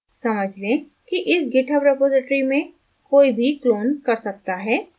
समझ लें कि इस github repository में कोई भी clone कर सकता है